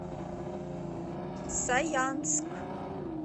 саянск